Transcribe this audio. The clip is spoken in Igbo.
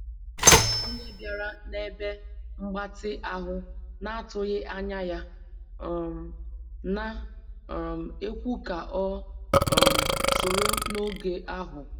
E nwere onye bịara na ebe mgbatị ahụ na atụghị anya ya, um na um ekwu ka o um soro n'oge ahu